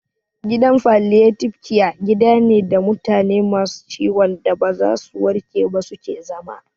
Gidan Falliyatibe kiya gida ne da mutane masu ciwon da ba za su warke ba su ke zama